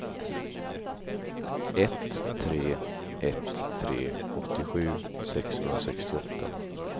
ett tre ett tre åttiosju sexhundrasextioåtta